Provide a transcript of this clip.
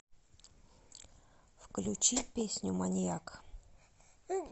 включи песню маньяк